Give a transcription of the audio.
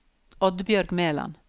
Oddbjørg Meland